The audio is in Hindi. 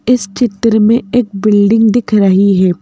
इस चित्र में एक बिल्डिंग दिख रही है।